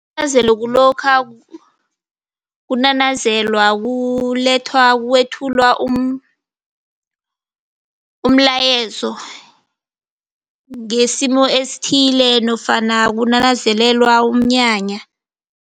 Isinanazelo kulokha kunanazelwa, kulethwa, kwethula umlayezo ngesimo esithile nofana kunanazelelwa umnyanya.